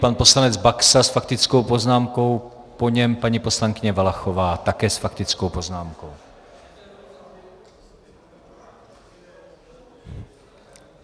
Pan poslanec Baxa s faktickou poznámkou, po něm paní poslankyně Valachová také s faktickou poznámkou.